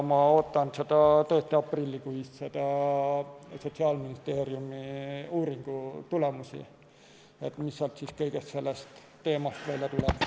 Ma ootan tõesti aprillikuise Sotsiaalministeeriumi uuringu tulemusi, et mis sealt sellel teemal välja tuleb.